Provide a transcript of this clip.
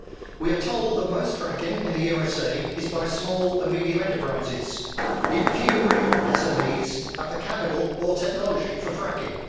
We are told that most fracking in the USA is by small and medium sized enterprises, yet few real SMEs have the capital or technology for fracking.